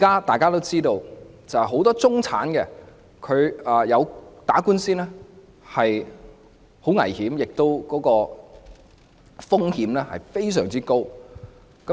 大家都知道，很多中產人士打官司，須承擔的風險非常高。